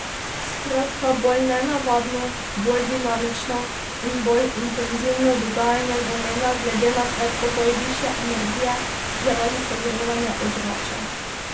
Skratka, bolj nenavadno, bolj dinamično in bolj intenzivno dogajanje vremena glede na predpogoj višje energije zaradi segrevanja ozračja.